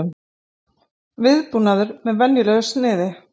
Viðbúnaður með venjulegu sniði